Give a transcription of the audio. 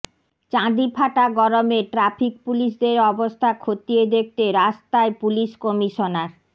চাঁদি ফাটা গরমে ট্র্যাফিক পুলিশদের অবস্থা খতিয়ে দেখতে রাস্তায় পুলিশ কমিশনার